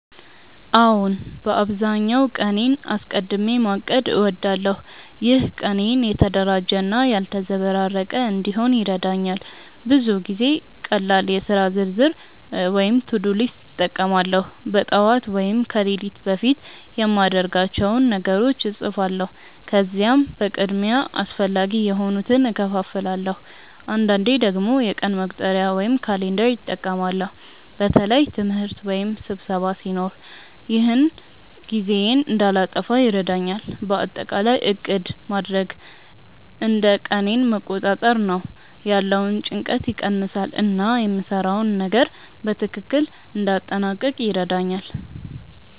አዎን፣ በአብዛኛው ቀኔን አስቀድሚ ማቀድ እወዳለሁ። ይህ ቀኔን የተደራጀ እና ያልተዘበራረቀ እንዲሆን ይረዳኛል። ብዙ ጊዜ ቀላል የሥራ ዝርዝር (to-do list) እጠቀማለሁ። በጠዋት ወይም ከሌሊት በፊት የማድርጋቸውን ነገሮች እጻፋለሁ፣ ከዚያም በቅድሚያ አስፈላጊ የሆኑትን እከፋፍላለሁ። አንዳንዴ ደግሞ የቀን መቁጠሪያ (calendar) እጠቀማለሁ በተለይ ትምህርት ወይም ስብሰባ ሲኖር። ይህ ጊዜዬን እንዳልጠፋ ይረዳኛል። በአጠቃላይ ዕቅድ ማድረግ እንደ ቀኔን መቆጣጠር ነው፤ ያለውን ጭንቀት ይቀንሳል እና የምሰራውን ነገር በትክክል እንዲያጠናቅቅ ይረዳኛል።